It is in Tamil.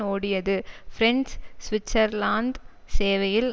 ஓடியது பிரெஞ்சு சுவிட்சர்லாந்து சேவையில்